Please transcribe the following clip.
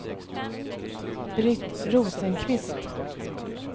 Britt Rosenqvist